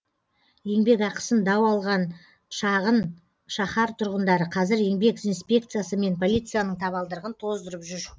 еңбекақысын дау алған шағын шаһар тұрғындары қазір еңбек инспекциясы мен полицияның табалдырығын тоздырып жүр